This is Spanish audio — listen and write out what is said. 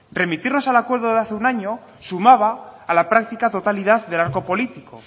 remitirnos al acuerdo de hace un año sumaba a la práctica totalidad del arco político